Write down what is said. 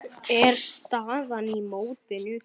er staðan í mótinu.